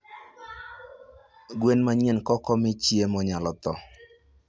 gwen manyien kokomii chiemo nyalo thoo